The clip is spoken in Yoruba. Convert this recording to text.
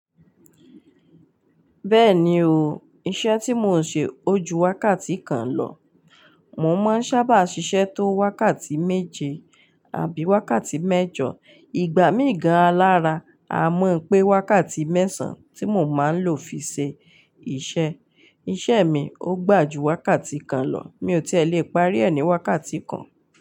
Bẹ́ẹ̀ni o, iṣẹ́ tí mò ń ṣe ó ju wákàtí kan lọ. Mò máa ń sábà ṣiṣẹ́ tó wákàtí méje àbí wákàtí mẹ́jọ. Ìgbà míì gan-an lára a mọ̀ pé wákàtí mẹ́sàn-án tí mò máa ń lò fi ṣe iṣẹ́. Iṣẹ́ mi ó gbà ju wákàtí kan lọ. Mi ò tí è lè parí ẹ̀ ní wákàtí kan.